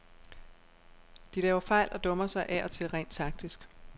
De laver fejl og dummer sig af og til rent taktisk.